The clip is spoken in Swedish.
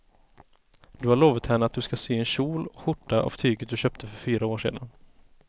Du har lovat henne att du ska sy en kjol och skjorta av tyget du köpte för fyra år sedan.